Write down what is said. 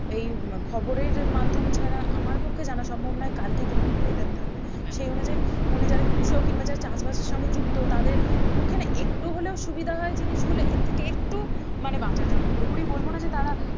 এই আহ খবরের মাধ্যম ছাড়া আমার পক্ষে জানা সম্ভব নই কালকে কেরকম weather থাকবে সে অনুযায় মানে যারা কৃষক কিংবা যারা চাষবাসের সঙ্গে যুক্ত তাদের পক্ষে না একটু হলেও সুবিধা হয় জিনিসগুলো এর থেকে একটু মানে বাঁচা যাই পুরোপুরি বলবো না যে তারা